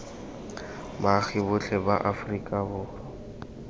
baagi botlhe ba aforika borwa